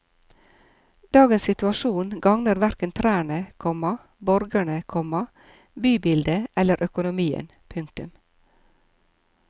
Dagens situasjon gagner hverken trærne, komma borgerne, komma bybildet eller økonomien. punktum